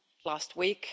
last week.